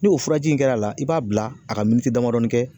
Ni o furaji in kɛr'a la i b'a bila a ka damadɔni kɛ